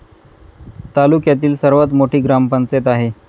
तालुक्यातील सर्वात मोठी ग्रामपंचायत आहे.